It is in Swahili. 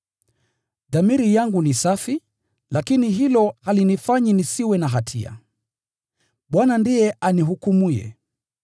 Dhamiri yangu ni safi, lakini hilo halinihesabii kuwa asiye na hatia. Bwana ndiye anihukumuye.